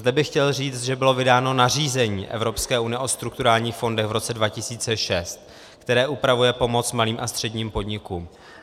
Zde bych chtěl říct, že bylo vydáno nařízení Evropské unie o strukturálních fondech v roce 2006, které upravuje pomoc malým a středním podnikům.